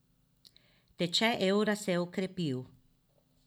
Tečaj evra se je okrepil.